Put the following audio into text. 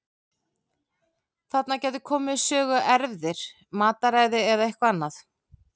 Þarna gætu komið við sögu erfðir, mataræði eða eitthvað annað.